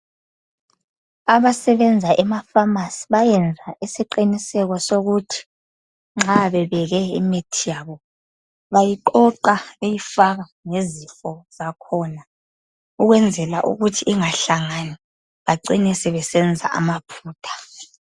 Abasebenza emafamasi bayenza isiqiniseko sokuthi nxa bebeke imithi yabo bayiqoqa beyifaka ngezifo zakhona ukwenzela ukuthi ingahlangani bacina sebesenza amaphutha.